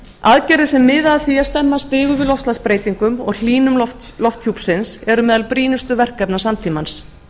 aðgerðir sem miða að á að stemma stigu við loftslagsbreytingum og hlýnun lofthjúpsins eru meðal brýnustu verkefna samtímans